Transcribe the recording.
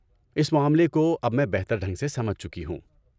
اس معاملے کو اب میں بہتر ڈھنگ سے سمجھ چکی ہوں۔